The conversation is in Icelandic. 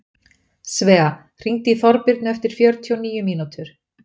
Svea, hringdu í Þorbirnu eftir fjörutíu og níu mínútur.